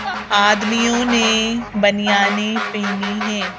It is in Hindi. आ-आदमियों ने बनियाने पहनी है।